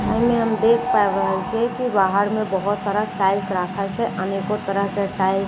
एहि मे हम देख पाबि रहल छिए की बाहर में बहुत सारा टाइल्स राखल छै अनेको तरह के टाएल्स पत्थर --